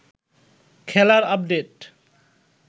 খেলার আপডেট